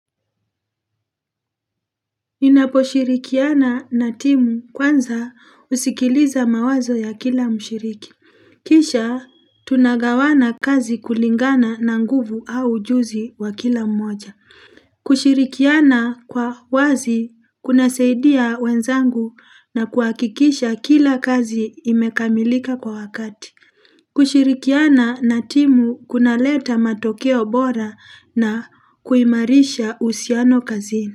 Ninaposhirikiana na timu kwanza husikiliza mawazo ya kila mshiriki Kisha tunagawana kazi kulingana na nguvu au ujuzi wa kila mmoja kushirikiana kwa wazi kunasaidia wenzangu na kuhakikisha kila kazi imekamilika kwa wakati kushirikiana na timu kuna leta matokeo bora na kuimarisha uhusiano kazini.